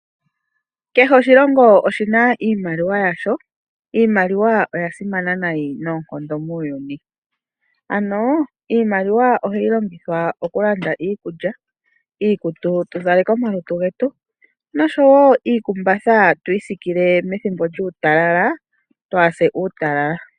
Kehe oshilongo oshina iimaliwa yasho. Iimaliwa oya simana nayi noonkondo muuyuni. Ano iimaliwa ohayi longithwa okulanda iikulya, iikutu opo tuzaleke omalutu getu, noshowo omakumbatha opo twiisikile methimbo lyuutalala, twaahase uutalala.